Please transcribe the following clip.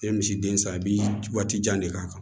I ye misiden san i b'i waati jan de k'a kan